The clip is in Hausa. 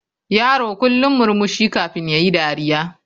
Yaro kullum murmushi kafin yayi dariya.